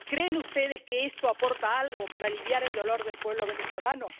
¿Creen ustedes que esto aporta algo para aliviar el dolor del pueblo venezolano?